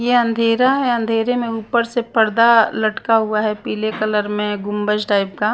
ये अंधेरा है अंधेरे में ऊपर से पर्दा लटका हुआ है पीले कलर में गुंबज टाइप का --